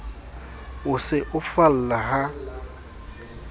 o se o falla ha